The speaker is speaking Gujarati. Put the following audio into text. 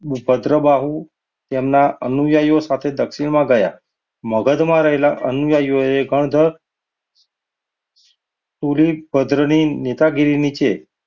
ઉપદ્ર બહુ તેમના અનુયાયો સાથે દક્ષિણમાં ગયા. મગધમાં રહેલા અનુયાયીઓ પૂરી ભદ્રની નેતાગીરી નીચે,